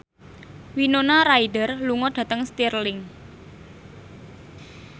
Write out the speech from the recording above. Winona Ryder lunga dhateng Stirling